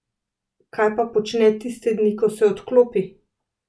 Kaj pa počne tiste dni, ko se odklopi?